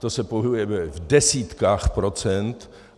Ten se pohybuje v desítkách procent.